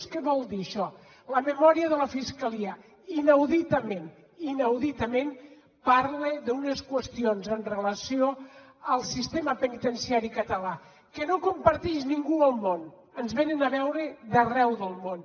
què vol dir això la memòria de la fiscalia inauditament inauditament parla d’unes qüestions amb relació al sistema penitenciari català que no comparteix ningú al món ens venen a veure d’arreu del món